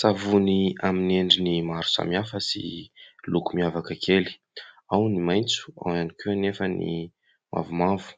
Savony amin'ny endriny maro samihafa sy loko miavaka kely. Ao ny maitso, ao ihany koa anefa ny mavomavo